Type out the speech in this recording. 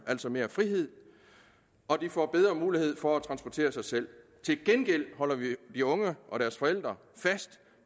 altså mere frihed og de får bedre mulighed for at transportere sig selv til gengæld holder vi de unge og deres forældre fast